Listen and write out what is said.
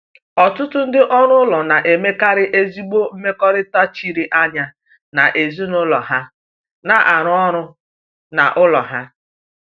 Ọtụtụ ndị ọrụ ụlọ na-emekarị ezigbo mmekọrịta chiri anya na ezinụlọ ha na-arụ ọrụ n’ụlọ ha.